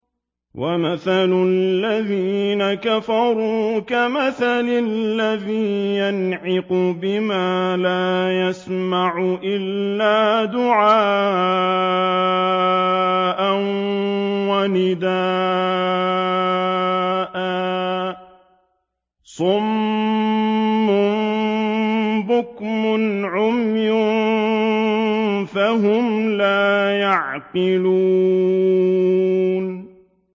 وَمَثَلُ الَّذِينَ كَفَرُوا كَمَثَلِ الَّذِي يَنْعِقُ بِمَا لَا يَسْمَعُ إِلَّا دُعَاءً وَنِدَاءً ۚ صُمٌّ بُكْمٌ عُمْيٌ فَهُمْ لَا يَعْقِلُونَ